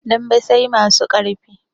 Dambe sai masu ƙarfi